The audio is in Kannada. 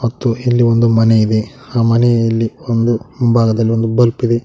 ಮತ್ತು ಇಲ್ಲಿ ಒಂದು ಮನೆ ಇದೆ ಆ ಮನೆಯಲ್ಲಿ ಒಂದು ಮುಂಭಾಗದಲ್ಲಿ ಒಂದು ಬಲ್ಪ್ ಇದೆ.